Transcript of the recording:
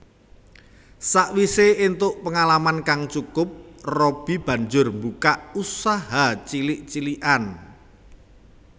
Sawisé éntuk pengalaman kang cukup Robby banjur mbukak usaha cilik cilikan